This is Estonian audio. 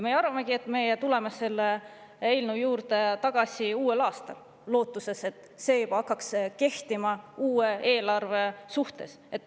Me arvamegi, et me tuleme selle eelnõu juurde tagasi uuel aastal, lootuses, et see hakkaks kehtima uue eelarve suhtes.